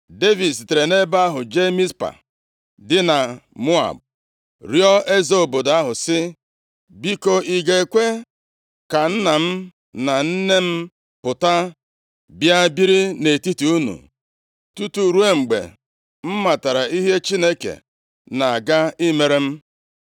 Devid sitere nʼebe ahụ jee Mizpa dị na Moab rịọọ eze obodo ahụ sị, “Biko, ị ga-ekwe ka nna m na nne m pụta bịa biri nʼetiti unu tutu ruo mgbe m matara ihe Chineke na-aga imere m?”